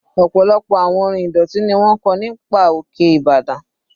Ọ̀pọ̀lọpọ̀ àwọn orin ìdọ̀tí ni wọ́n kọ́ nígbà òkè ìbàdàn.